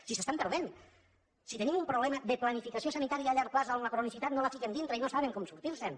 si s’estan perdent si tenim un problema de planificació sanitària a llarg termini on la cronicitat no la fiquen dintre i no saben com sortirse’n